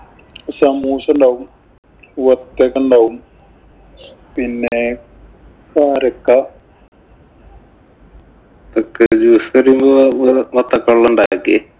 സമൂസയുണ്ടാവും. വത്തക്ക ഉണ്ടാവും. പിന്നെ കാരക്ക. ക്ക് juice തരുമ്പോ ഇന്നലെ വത്തക്ക കൊണ്ടുണ്ടാക്കി.